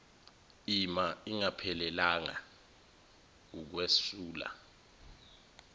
ima ingaphelelanga ukwesula